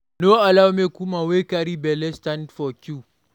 No allow make woman wey carry belle stand for queue